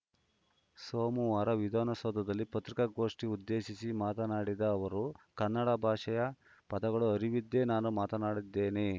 ಸೋಮವಾರ ವಿಧಾನಸೌಧದಲ್ಲಿ ಪತ್ರಿಕಾಗೋಷ್ಠಿ ಉದ್ದೇಶಿಸಿ ಮಾತನಾಡಿದ ಅವರು ಕನ್ನಡ ಭಾಷೆಯ ಪದಗಳು ಅರಿವಿದ್ದೇ ನಾನು ಮಾತನಾಡಿದ್ದೇನೆ